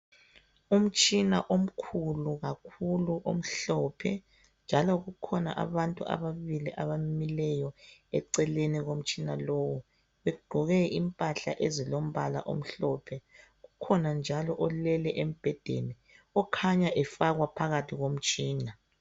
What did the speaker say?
Umtshina omkhulu kakhulu omhlophe njalo kukhona abantu ababili abamileyo eceleni komtshina lowo, beqoke imphahla ezilombala omhlophe. Kukhona njalo olele embhedeni okhanya efakwa phakathi komtshina.